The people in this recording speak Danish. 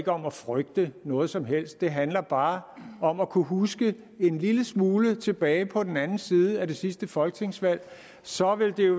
om at frygte noget som helst det handler bare om at kunne huske en lille smule tilbage på den anden side af det sidste folketingsvalg og så vil det jo